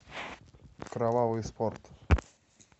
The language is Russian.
кровавый спорт